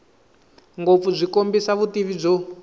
ngopfu byi kombisa vutivi byo